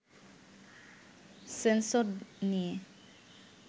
sensor নিয়ে